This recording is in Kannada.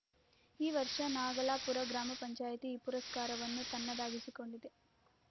ಈ ವರ್ಷ ನಾಗಲಾಪುರ ಗ್ರಾಮ ಪಂಚಾಯಿತಿ ಈ ಪುರಸ್ಕಾರವನ್ನು ತನ್ನದಾಗಿಸಿಕೊಂಡಿದೆ